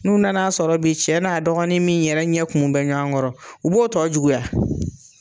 N'u nan'a sɔrɔ bi cɛ n'a dɔgɔnin min yɛrɛ ɲɛ kumun bɛ ɲɔnkɔrɔ, u b'o tɔ juguya.